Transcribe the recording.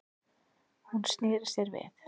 Hún sneri sér við.